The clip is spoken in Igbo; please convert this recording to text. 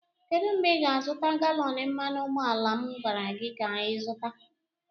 kedụ mgbe ị ga-azụta galọn mmanụ ụgbọala m gwara gị ka zụta?